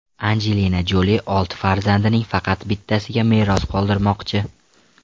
Anjelina Joli olti farzandining faqat bittasiga meros qoldirmoqchi.